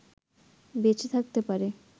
বেঁচে থাকতে পারে